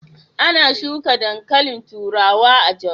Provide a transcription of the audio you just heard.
Ana shuka dankalin turawa a Jos.